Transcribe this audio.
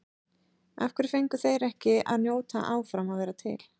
Af hverju fengu þeir ekki að njóta áfram að vera til?